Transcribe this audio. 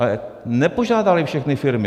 Ale nepožádaly všechny firmy.